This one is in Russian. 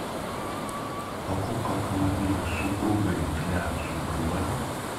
покупка автомобиля с супругой для супруга